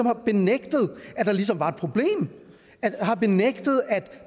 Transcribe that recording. har benægtet at der ligesom var et problem har benægtet at